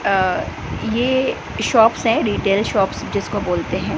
अ ये शॉप्स है retail shops जिसको बोलते हैं।